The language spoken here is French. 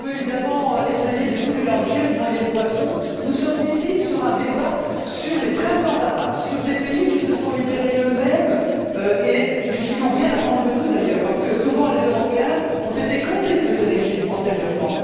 Chère Madame, on peut évidemment essayer de tout mélanger, de noyer le poisson. Nous menons ici un débat sur les printemps arabes, sur des pays qui se sont libérés eux mêmes et qui n'ont rien attendu de nous, d'ailleurs, parce que souvent, les Européens ont été complices de ces régimes antérieurement.